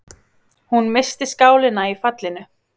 Hún missti skálina í fallinu.